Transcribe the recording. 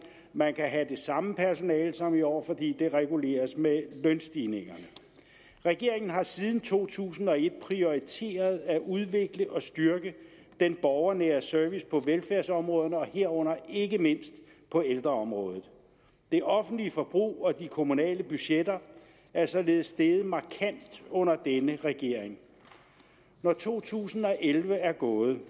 man kan have det samme personale som i år fordi det reguleres med lønstigningerne regeringen har siden to tusind og et prioriteret at udvikle og styrke den borgernære service på velfærdsområderne herunder ikke mindst på ældreområdet det offentlige forbrug og de kommunale budgetter er således steget markant under denne regering når to tusind og elleve er gået